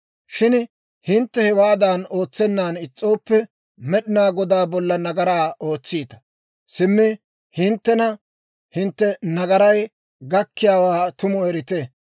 «Shin hintte hewaadan ootsennan is's'ooppe, Med'inaa Godaa bolla nagaraa ootsiita; simmi hinttena hintte nagaray gakkiyaawaa tumu erite.